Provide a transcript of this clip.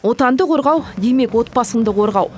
отанды қорғау демек отбасыңды қорғау